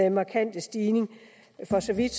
en markant stigning for så vidt